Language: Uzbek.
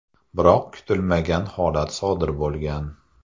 Biroq kutilmagan holat sodir bo‘lgan.